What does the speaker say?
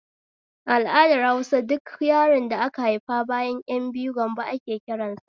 A al'adar Hausa duk yaron da ka haifa bayan ƴan biyu gambo ake kiransa